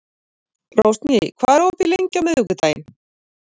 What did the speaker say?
Rósný, hvað er opið lengi á miðvikudaginn?